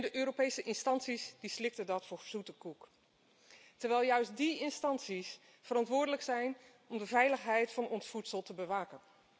De Europese instanties slikten dat voor zoete koek terwijl juist die instanties verantwoordelijk zijn om de veiligheid van ons voedsel te bewaken.